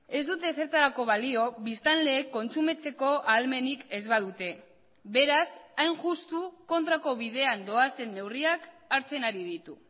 ez dute ezertarako balio biztanleek kontsumitzeko ahalmenik ez badute beraz hain justu kontrako bidean doazen neurriak hartzen ari ditu